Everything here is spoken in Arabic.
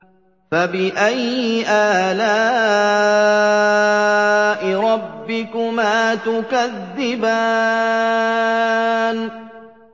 فَبِأَيِّ آلَاءِ رَبِّكُمَا تُكَذِّبَانِ